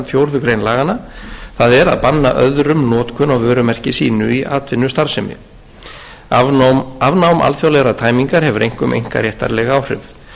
fjórðu grein laganna það er að banna öðrum notkun á vörumerki sínu í atvinnustarfsemi afnám alþjóðlegrar tæmingar hefur einkum einkaréttarleg áhrif hlutverk vörumerkja